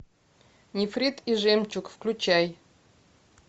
нефрит и жемчуг включай